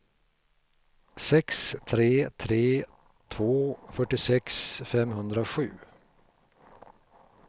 sex tre tre två fyrtiosex femhundrasju